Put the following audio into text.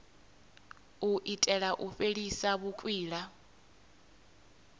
u itela u fhelisa vhukwila